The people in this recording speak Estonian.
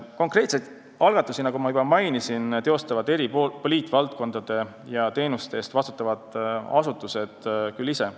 Konkreetseid algatusi teostavad, nagu juba mainisin, eri poliitvaldkondade ja teenuste eest vastutavad asutused ise.